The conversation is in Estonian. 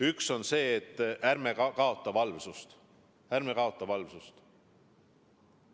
Üks on see, et ärme kaotame valvsust.